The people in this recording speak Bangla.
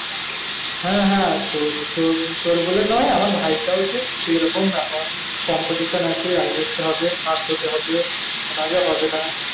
হ্যাঁ হ্যাঁ তোর তোর তোর বলেও নয় আমার ভাইটাও সেই সেই রকম ব্যাপার competition আছে আয় করতে হবে first হতে হবে না হলে হবে না